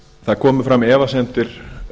það komu fram efasemdir